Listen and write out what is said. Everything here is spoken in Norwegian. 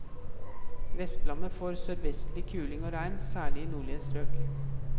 Vestlandet får sørvestlig kuling og regn, særlig i nordlige strøk.